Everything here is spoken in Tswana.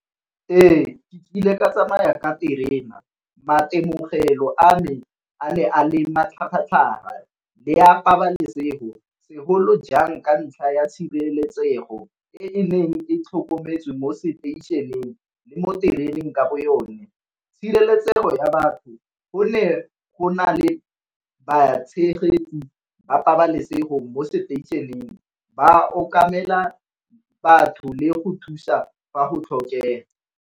Ee, ke nkile ka tsamaya ka terena maitemogelo a me a ne a le matlhagatlhaga le a pabalesego segolo jang ka ntlha ya tshireletsego e neng e tlhokometswe mo seteišeneng le mo tereneng ka bo yone. Tshireletsego ya batho gone go na le ba tshegetsi ba pabalesego mo seteišeneng ba okamela batho le go thusa fa go tlhokega.